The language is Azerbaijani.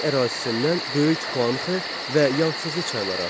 Onun ərazisindən Böyük Xuanxə və Yansızı çayları axır.